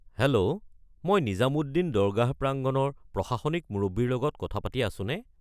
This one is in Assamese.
হেল্ল', মই নিজামুদ্দিন দৰগাহ প্ৰাংগণৰ প্ৰশাসনিক মুৰব্বীৰ লগত কথা পাতি আছোনে?